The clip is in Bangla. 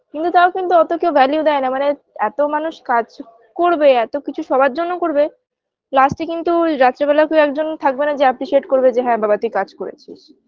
কিন্তু তাও কিন্তু অতো কেউ value দেয় না মানে এত মানুষ কাজ করবে এত কিছু সবার জন্য করবে last -এ কিন্তু রাত্রিবেলা কেউ একজন থাকবে না যে appreciate করবে না হ্যাঁ বাবা তুই কাজ করেছিস